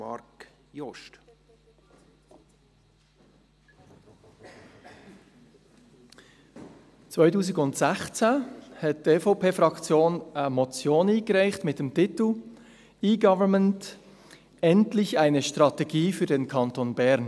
2016 reichte die EVP-Fraktion eine Motion ein mit dem Titel «Endlich eine E-Government-Strategie für den Kanton Bern